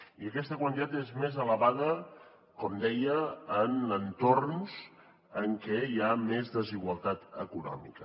i aquesta quantitat és més elevada com deia en entorns en què hi ha més desigualtat econòmica